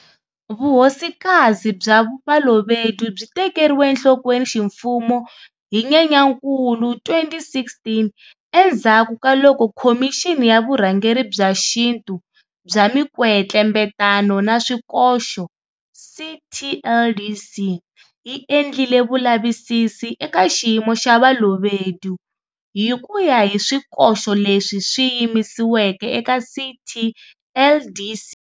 Vuhosikazi bya Balobedu byi tekeriwe enhlokweni ximfumo hi Nyenyankulu 2016 endzhaku ka loko Khomixini ya Vurhangeri bya Xintu bya Mikwetlembetano na Swikoxo, CTLDC, yi endlile vulavisisi eka xiyimo xa Balobedu, hi ku ya hi swikoxo leswi swi yisiweke eka CTLDC.